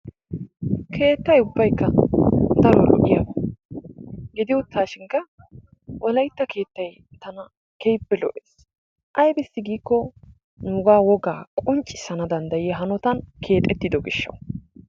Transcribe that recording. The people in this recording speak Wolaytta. Keettay ubbaykka pala lo''iyaaba gidi uttashin Wolaytta keettay tana keehippe lo''es aybbissi giio nuuga woga qonccisana danddayiya hanotan keexxetido gishshaw.